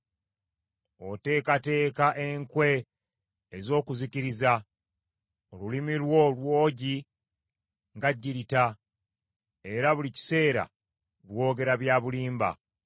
Oteekateeka enkwe ez’okuzikiriza. Olulimi lwo lwogi nga kkirita era buli kiseera lwogera bya bulimba.